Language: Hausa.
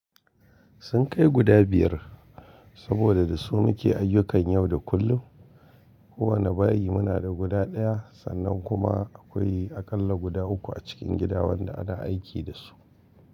Sun kai guda biyar saboda da su muke ayyukan yau da kullum. Kowanne bayi muna da guda ɗaya sannan kuma akwai aƙalla guda uku a cikin gida wanda ana aiki da su.